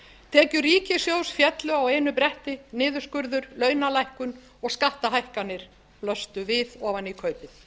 tekjur ríkissjóðs féllu á einu bretti niðurskurður launalækkun og skattahækkanir blöstu við ofan í kaupið